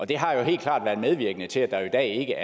det har jo helt klart været medvirkende til at der i dag